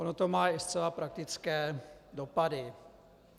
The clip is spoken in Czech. Ono to má i zcela praktické dopady.